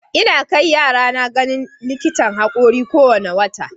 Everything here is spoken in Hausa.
Ina kai yarana ganin likitan haƙori kowane wata.